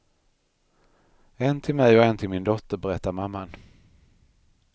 En till mig och en till min dotter, berättar mamman.